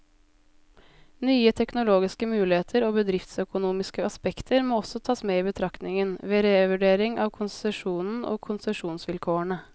Nye teknologiske muligheter og bedriftsøkonomiske aspekter må også tas med i betraktningen, ved revurdering av konsesjonen og konsesjonsvilkårene.